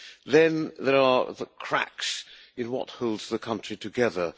Then there are the cracks in what holds the country together.